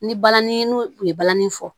Ni balani n'u u ye balani fɔ